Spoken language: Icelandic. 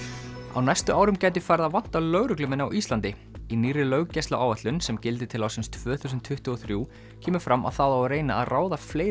á næstu árum gæti farið að vanta lögreglumenn á Íslandi í nýrri löggæsluáætlun sem gildir til ársins tvö þúsund tuttugu og þrjú kemur fram að það á að reyna að ráða fleiri